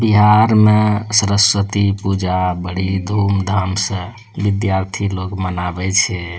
बिहार में सरस्वती पूजा बड़ी धूम-धाम स विधार्थी लोग मनावे छे।